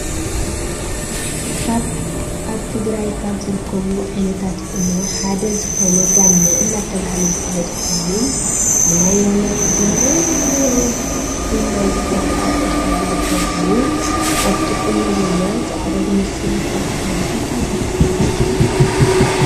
ካብ ኣብ ትግራይ ካብ ዝርከቡ ዓይነታት ቁኖ ሓደ ዝኮነ ጋመ እናተባህለ ዝፍለጥ ኮይኑን ብናይ ወለዲና ሒና ዝብሃል ኣብ እድካ ዝልከ ኮይኑ ኣብቲ ቁኖ ዘሎ ፃዕዳ ዝመስል ዝተለከየ እንታይ ይብሃል ሽሙ?